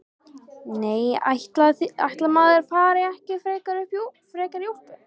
Nei, ætli maður fari ekki frekar í úlpu.